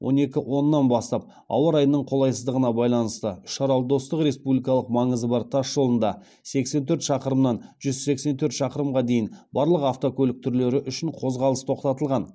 он екі оннан бастап ауа райының қолайсыздығына байланысты үшарал достық республикалық маңызы бар тас жолында барлық автокөлік түрлері үшін қозғалыс тоқтатылған